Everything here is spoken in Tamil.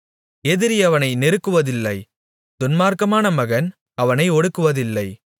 எதிரி அவனை நெருக்குவதில்லை துன்மார்க்கமான மகன் அவனை ஒடுக்குவதில்லை